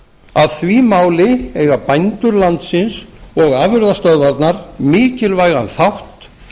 að því máli eiga bændur landsins og afurðastöðvarnar mikilvægan þátt